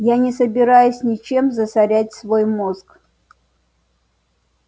я не собираюсь ничем засорять свой мозг